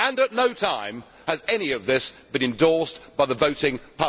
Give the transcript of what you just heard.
At no time has any of this been endorsed by the voting public.